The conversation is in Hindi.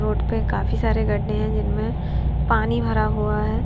रोड पे काफी सारे गड्ढे हैं जिनमें पानी भरा हुआ है।